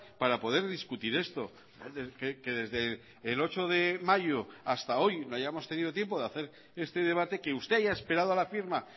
para poder discutir esto que desde el ocho de mayo hasta hoy no hayamos tenido tiempo de hacer este debate que usted haya esperado a la firma